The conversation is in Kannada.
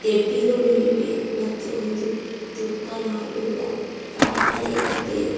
ಡೆಬ್ಬೀಗಳು ಇವೆ ಮತ್ತೊಂದು ತೂಕ ಮಾಡುವ ಕಾಟಾ ಇದೆ.